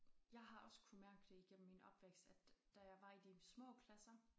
Jeg har også kunnet mærke det igennem min opvækst at da jeg var i de små klasser